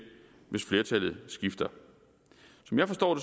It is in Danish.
hvis flertallet skifter som jeg forstår